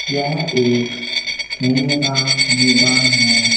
यह एक खेलने का मैदान है।